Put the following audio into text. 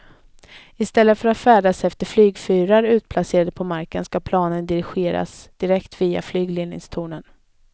I stället för att färdas efter flygfyrar utplacerade på marken ska planen dirigeras direkt via flygledningstornen.